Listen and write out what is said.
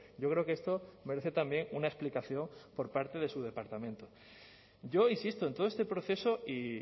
yo creo que esto merece también una explicación por parte de su departamento yo insisto en todo este proceso y